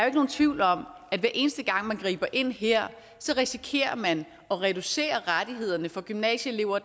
ikke nogen tvivl om at hver eneste gang man griber ind her risikerer man at reducere rettighederne for gymnasieelever